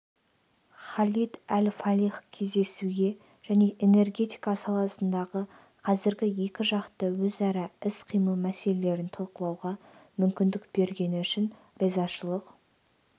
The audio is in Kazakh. халид әл-фалих кездесуге және энергетика саласындағы қазіргі екіжақты өзара іс-қимыл мәселелерін талқылауға мүмкіндік бергені үшін ризашылық